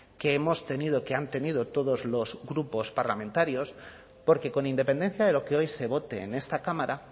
que hemos tenido que han tenido todos los grupos parlamentarios porque con independencia de lo que hoy se vote en esta cámara